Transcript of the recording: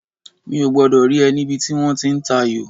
Mi ò gbọ́dọ̀ rí ẹ níbi tí wọ́n ti ń tayò